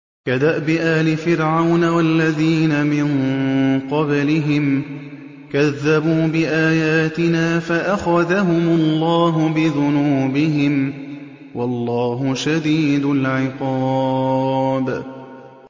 كَدَأْبِ آلِ فِرْعَوْنَ وَالَّذِينَ مِن قَبْلِهِمْ ۚ كَذَّبُوا بِآيَاتِنَا فَأَخَذَهُمُ اللَّهُ بِذُنُوبِهِمْ ۗ وَاللَّهُ شَدِيدُ الْعِقَابِ